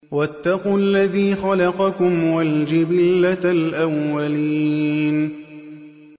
وَاتَّقُوا الَّذِي خَلَقَكُمْ وَالْجِبِلَّةَ الْأَوَّلِينَ